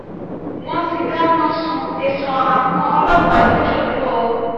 wọ́n ti dáná sun tẹ̀sán àwọn ọlọ́pàá lọ́jọ́dù o